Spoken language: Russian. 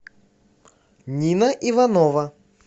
нина иванова